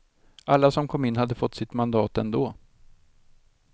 Alla som kom in hade fått sitt mandat ändå.